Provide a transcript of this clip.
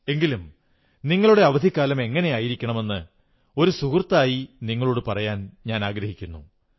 എങ്കിലും നിങ്ങളുടെ അവധിക്കാലം എങ്ങനെയായിരിക്കണമെന്ന് ഒരു സുഹൃത്തായി നിങ്ങളോടു പറയാൻ ഞാനാഗ്രഹിക്കുന്നു